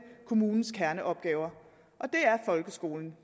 kommunens kerneopgaver og det er folkeskolen